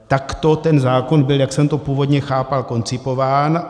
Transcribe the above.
Takto ten zákon byl, jak jsem to původně chápal, koncipován.